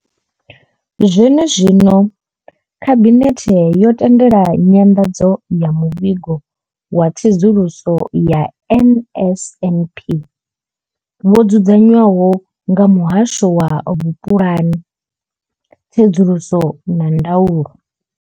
Zwene zwino, Khabinethe yo tendela nyanḓadzo ya Muvhigo wa Tsedzuluso ya NSNP wo dzudzanywaho nga Muhasho wa Vhupulani, Tsedzuluso na Ndaulo.